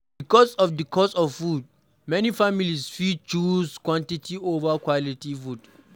Because of di cost of food, many families fit choose quantity over quality food